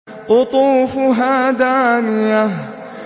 قُطُوفُهَا دَانِيَةٌ